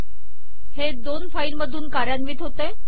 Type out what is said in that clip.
हे दोन फाईल मधून कार्यान्वित होते